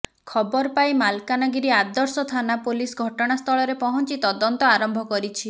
ଖବର ପାଇ ମାଲକାନଗିରି ଆଦର୍ଶ ଥାନା ପୋଲିସ ଘଟଣାସ୍ଥଳରେ ପହଂଚି ତଦନ୍ତ ଆରମ୍ଭ କରିଛି